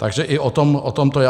Takže i o tom to je.